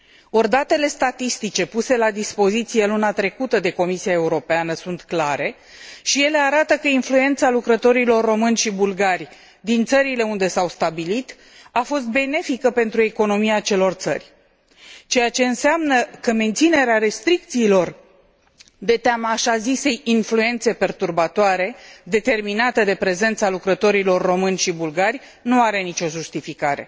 Ori, datele statistice puse la dispoziție luna trecută de Comisia Europeană sunt clare și ele arată că influența lucrătorilor români și bulgari din țările unde s au stabilit a fost benefică pentru economia acelor țări, ceea ce înseamnă că, menținerea restricțiilor de teama așa zisei influențe perturbatoare determinată de prezența lucrătorilor români și bulgari, nu are nici o justificare.